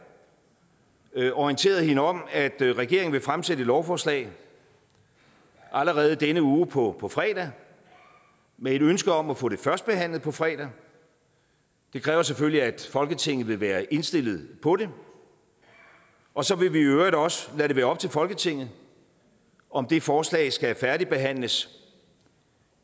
og orienteret hende om at regeringen vil fremsætte et lovforslag allerede i denne uge på på fredag med et ønske om at få det førstebehandlet på fredag det kræver selvfølgelig at folketinget vil være indstillet på det og så vil vi i øvrigt også lade det være op til folketinget om det forslag skal færdigbehandles